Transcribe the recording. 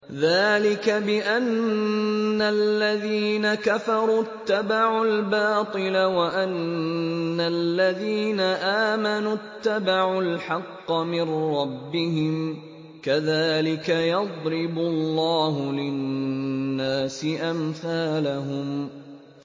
ذَٰلِكَ بِأَنَّ الَّذِينَ كَفَرُوا اتَّبَعُوا الْبَاطِلَ وَأَنَّ الَّذِينَ آمَنُوا اتَّبَعُوا الْحَقَّ مِن رَّبِّهِمْ ۚ كَذَٰلِكَ يَضْرِبُ اللَّهُ لِلنَّاسِ أَمْثَالَهُمْ